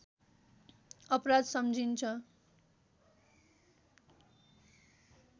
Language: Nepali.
अपराध सम्झिइन्छ